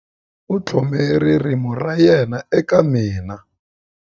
U tlhome ririmi ra yena eka mina.